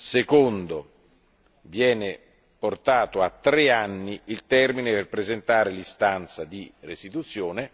secondo, viene portato a tre anni il termine per presentare l'istanza di restituzione